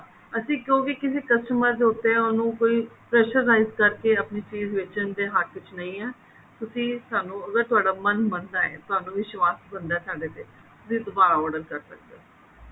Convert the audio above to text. ਤੁਸੀਂ ਕਿਸੇ customer ਦੇ ਉੱਤੇ ਉਹਨੂੰ ਕੋਈ pressurize ਕਰਕੇ ਆਪਣੀ ਚੀਜ ਵੇਚਣ ਦੇ ਹੱਕ ਵਿੱਚ ਨਹੀਂ ਹਾਂ ਤੁਸੀਂ ਸਾਨੂੰ ਅਗਰ ਤੁਹਾਡਾ ਮੰਨ ਮਨਦਾ ਹੈ ਤੁਹਾਨੂੰ ਵਿਸ਼ਵਾਸ ਬਣਦਾ ਸਾਡੇ ਤੇ ਫਿਰ ਦੁਬਾਰਾ order ਕਰ ਸਕਦੇ ਹੋ